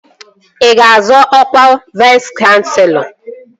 Ị ga-azọ ọkwa Vais kanselọ?